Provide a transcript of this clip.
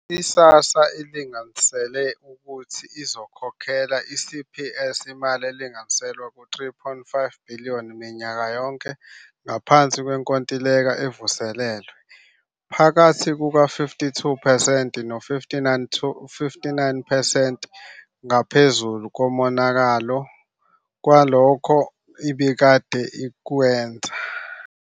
I-SASSA ilinganisele ukuthi izokhokhela i-CPS imali elinganiselwa ku-R3.5 billion minyaka yonke ngaphansi kwenkontileka evuselelwe, phakathi kuka-52 percent no-59 percent ngaphezulu kunalokho ebikade ikwenza.